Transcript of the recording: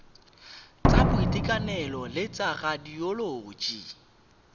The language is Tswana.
tsa boitekanelo le tsa radioloji